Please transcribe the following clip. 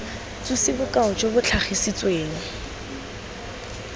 tsosi bokao jo bo tlhagisitsweng